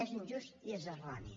és injust i és erroni